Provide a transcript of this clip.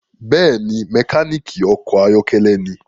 Bẹẹni, mekaniki ọkọ ayọkẹlẹ ní